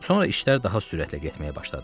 Sonra işlər daha sürətlə getməyə başladı.